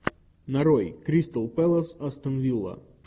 нарой кристал пэлас астон вилла